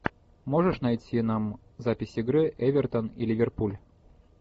можешь найти нам запись игры эвертон и ливерпуль